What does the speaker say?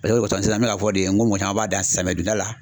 mɔgɔ caman b'a dan samiya donda la.